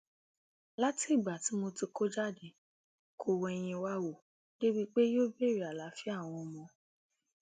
látìgbà tí mo sì kó jáde kó wẹyìn wá wò débií pé yóò béèrè àlàáfíà àwọn ọmọ